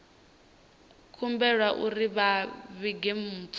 humbelwa uri vha vhige mpfu